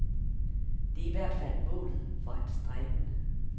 Det er i hvert fald målet for hans stræben.